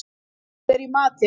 Ylur, hvað er í matinn?